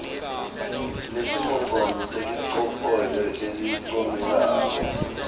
nesimongcondvo ngelicophelo lelincomekako